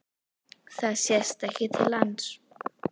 Það sést ekki til lands.